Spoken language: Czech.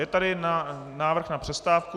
Je tady návrh na přestávku.